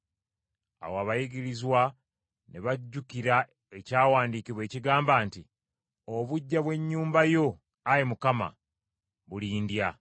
Awo abayigirizwa ne bajjukira Ekyawandiikibwa ekigamba nti, “Obuggya bw’Ennyumba yo, Ayi Mukama, bulindya.”